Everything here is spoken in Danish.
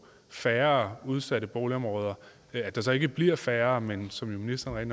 færre udsatte boligområder at der ikke bliver færre men som ministeren